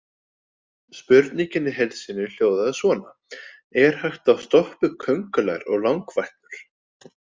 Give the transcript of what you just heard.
Spurningin í heild sinni hljóðaði svona: Er hægt að stoppa upp köngulær og langfætlur?